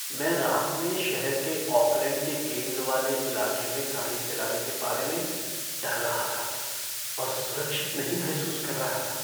मैं रात में शहर के ओकलैंड के केन्द्र वाले इलाके में गाड़ी चलाने के बारे में डर रहा था और सुरक्षित नहीं महसूस कर रहा था।